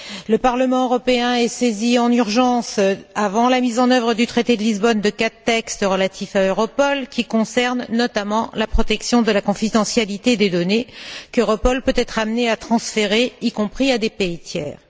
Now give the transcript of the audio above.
Le Parlement européen est saisi en urgence, avant la mise œuvre du traité de Lisbonne, de quatre textes relatifs à Europol, qui concernent notamment la protection de la confidentialité des données qu'Europol peut être amené à transférer, y compris à des pays tiers.